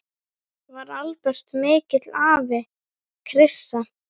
Var Albert mikill afi, Krissa?